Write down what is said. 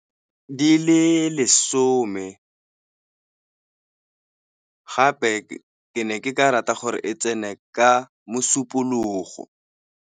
Di le lesome gape ke ne ke ka rata gore e tsene ka Mosupologo.